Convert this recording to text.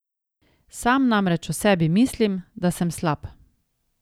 Sam namreč o sebi mislim, da sem slab.